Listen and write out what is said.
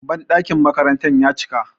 banɗakin makaranta ya cika